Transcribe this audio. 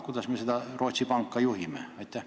Kuidas me seda Rootsi panka juhtida saame?